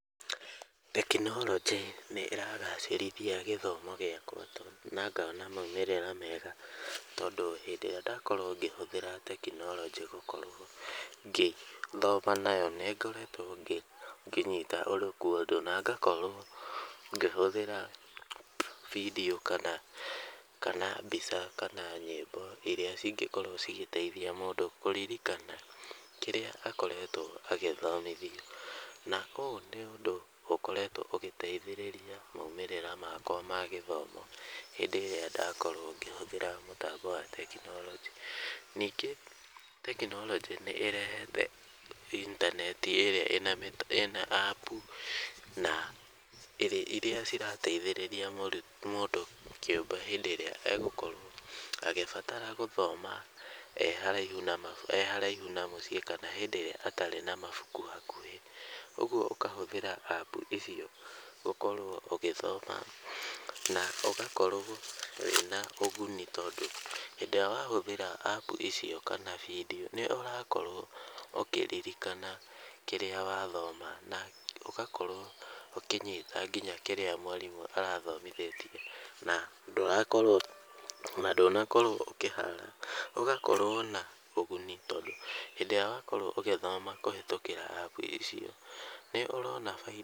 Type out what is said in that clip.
Tekinorojĩ nĩ ĩragacĩrithia gĩthomo gĩakwa na ngona maumĩrĩra mega, tondũ hĩndĩ ĩrĩa ndakorwo ngĩhũthĩra tekinorojĩ gũkorwo ngĩthoma nayo, nĩngoretwo ngĩnyita ũndũ , na ngakorwo ngĩhũthĩra video kana, kana mbica , kana nyĩmbo iria cingĩkorwo cikĩteithia mũndũ kũririkana kĩrĩa mũndũ akoretwo agĩthomithio, na ũũ nĩ ũndũ ũkoretwo ũgĩteithĩrĩria maumĩrĩra makwa ma gĩthomo, hĩndĩ ĩrĩa ndakorwo ngĩhũthĩra mũtambo wa tekinorojĩ , ningĩ tekinorojĩ nĩ ĩrehete inatenti ĩrĩa ĩna apu, na iria cirateithĩrĩria mũndũ kĩũmbe hĩndĩ ĩrĩa agũkorwo agĩbatara gũthoma e haraihu mabu, e haraihu na mũciĩ, kana hĩndĩ ĩrĩa atarĩ na mabuku hakuhĩ, ũgwo ũkahũthĩra apu icio ũkorwo ũgĩthoma , na ũgakorwo wĩna ũguni, tondũ hĩndĩ ĩrĩa wahũthĩra apu icio kana video , nĩ ũrakorwo ũkĩririkana kĩrĩa wathoma, na ũgakorwo ũkĩnyita nginya kĩrĩa mwarimũ arathomithĩtie , na ndũrakorwo ona, ndũnakorwo ũkĩhara, ũgakorwo na ũguni, tondũ hĩndĩ ĩrĩa wakorwo ũgĩthoma ũkĩhĩtũkĩra apu icio, nĩ ũrona baida.